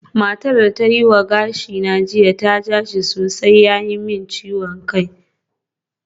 Matar da ta yi wa gashina jiya ta ja shi sosai ya yi min ciwon kai